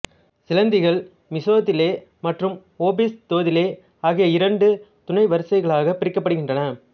சிலந்திகள் Mesothelae மற்றும் Opisthothelae ஆகிய இரண்டு துணை வரிசைகளாகப் பிரிக்கப்படுகின்றன